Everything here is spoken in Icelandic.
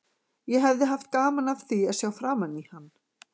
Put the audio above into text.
Ég hefði haft gaman af því að sjá framan í hann.